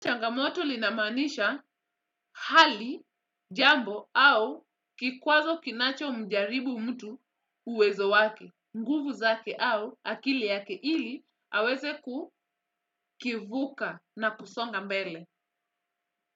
Changamoto linamaanisha hali, jambo, au kikwazo kinacho mjaribu mtu uwezo wake. Nguvu zake au akili yake ili, aweze kukivuka na kusonga mbele.